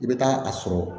I bɛ taa a sɔrɔ